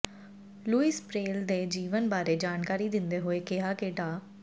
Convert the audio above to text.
Louis Braille ਦੇ ਜੀਵਨ ਬਾਰੇ ਜਾਣਕਾਰੀ ਦਿੰਦੇ ਹੋਏ ਕਿਹਾ ਕਿ ਡਾ